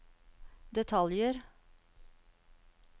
detaljer